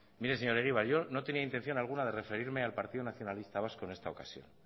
mire señor egibar yo no tenía intención alguna de referirme al partido nacionalista vasco en esta ocasión